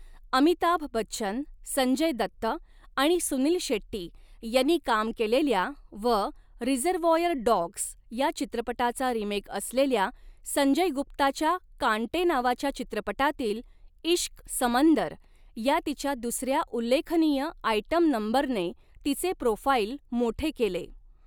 अमिताभ बच्चन, संजय दत्त आणि सुनील शेट्टी यांनी काम केलेल्या व 'रिझर्वॉयर डॉग्स' या चित्रपटाचा रिमेक असलेल्या संजय गुप्ताच्या 'कांटे' नावाच्या चित्रपटातील 'ईश्क समंदर' या तिच्या दुसऱ्या उल्लेखनीय आयटम नंबरने तिचे प्रोफाईल मोठे केले.